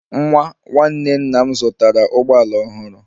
Nwa nwanne nna m zụtara ụgbọ ala ọhụrụ